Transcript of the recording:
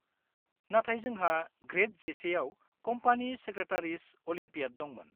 -नाथाय जोंहा ग्रेद 11 आव कम्पानि सेक्रेटारिस अलिम्पियाड दंमोन।